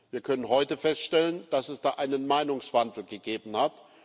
Wir können heute feststellen, dass es da einen Meinungswandel gegeben hat.